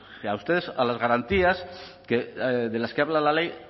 a ustedes a las garantías de las que habla la ley